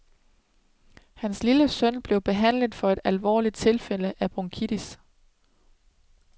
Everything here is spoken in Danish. Hans lille søn blev behandlet for et alvorligt tilfælde af bronkitis.